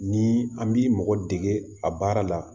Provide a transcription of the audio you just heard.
Ni an bi mɔgɔ dege a baara la